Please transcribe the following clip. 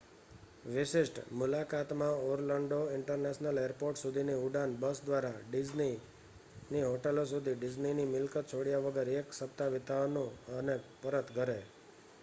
"""વિશિષ્ટ" મુલાકાતમાં Orlando international airport સુધીની ઉડાન બસ દ્વારા ડિઝની ની હોટેલ સુધી ડિઝનીની મિલકત છોડ્યા વગર એક સપ્તાહ વિતાવવાનું અને પરત ઘરે.